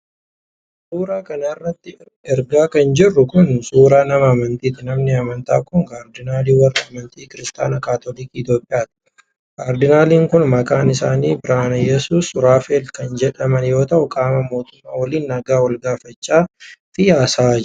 Suura kana irratti kan argaa jirru kun, suura nama amantiiti. Namni amantaa kun, kaardinaalii warra amantaa Kiristaanota kaatoliikii Itoophiyaati. Kaardinaaliin kun, maqaan isaanii Birihaanaiyyesuus Suraafeel kan jedhaman yoo ta'u, qaamota mootummaa waliin nagaa wal-gaafachaa fi haasa'aa jiru.